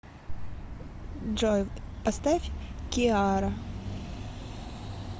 джой поставь киара